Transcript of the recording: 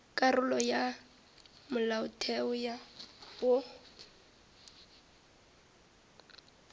karolo ya ya molaotheo wo